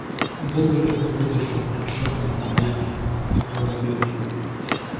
долго тут не выдержу шепнул я открывая дверь